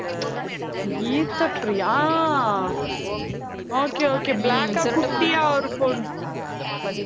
கீதப்பிரியா ஆஹ் okay okay black அ குட்டியா ஒரு பொண்ணு